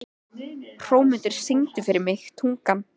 Hrómundur, syngdu fyrir mig „Tungan“.